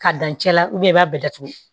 K'a dan cɛ la i b'a bɛɛ datugu